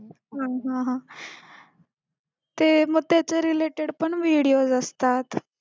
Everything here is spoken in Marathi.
हा हा ते मग त्याच्या related पण videos असतात